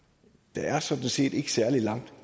der er sådan set ikke særlig langt